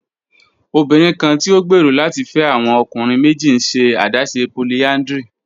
Obinrin kan ti o gbero lati fẹ awọn ọkunrin meji n ṣe adaṣe polyandry